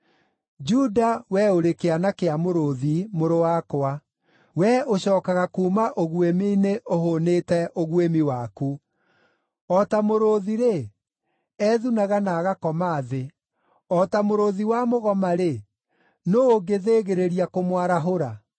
Juda, we ũrĩ kĩana kĩa mũrũũthi, mũrũ wakwa; we ũcookaga kuuma ũguĩmi-inĩ ũhũũnĩte ũguĩmi waku. O ta mũrũũthi-rĩ, ethunaga na agakoma thĩ, o ta mũrũũthi wa mũgoma-rĩ, nũũ ũngĩthĩgĩrĩria kũmwarahũra?